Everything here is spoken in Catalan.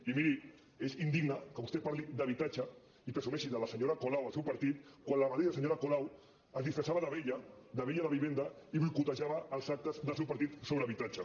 i miri és indigne que vostè parli d’habitatge i presumeixi de la senyora colau al seu partit quan la mateixa senyora colau es disfressava d’abella d’abella de vivenda i boicotejava els actes del seu partit sobre habitatge